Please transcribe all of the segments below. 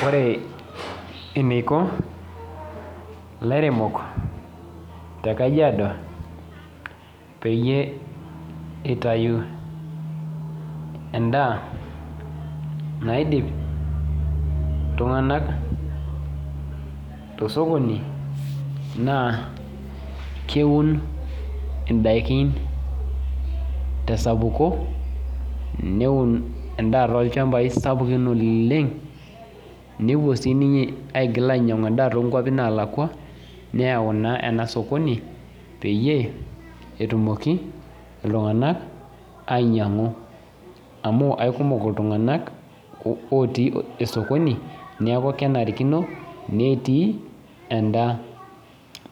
Ore eneiko ilairemok tekajiado peyie eitayu endaa naidip iltung'anak tosokoni naa keun indaikin tesapuko neun endaa tolchambai sapuki oleng nepuo aigil ainyiang'u endaa toonkuapi naalakua neyau enasoki peyie etumoki iltung'anak ainyiang'u amu keikumo iltung'anak ootii ena sokini neeku kenarikino netii endaa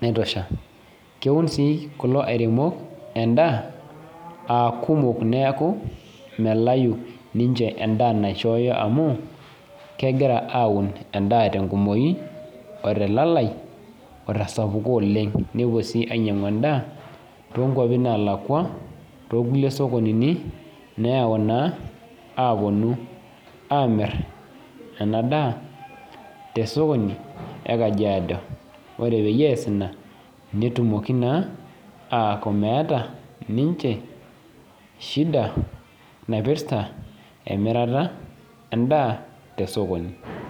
naitosha keun sii kulo airemok endaa neeeku melayu ninche endaa naishoyo amu kegira aun enda otelalai otesapuko oleng nepuo sii ainyiang'u endaa too nkuapi naalakua neyau naa apuonu aamir ena daa tesoki e kajiado ore pee ees ina netumoki naa aku meeta shida naipirta emirata endaa tesokoni.